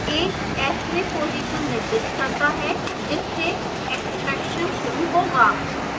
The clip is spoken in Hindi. a s में position निर्दिष्ट करता है जिससे extraction शुरू होगा